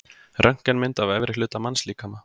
Röntgenmynd af efri hluta mannslíkama.